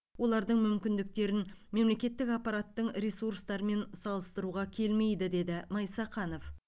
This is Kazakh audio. олардың мүмкіндіктерін мемлекеттік аппараттың ресурстарымен салыстыруға келмейді деді майсақанов